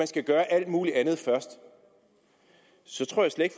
skal gøre alt muligt andet først så tror jeg slet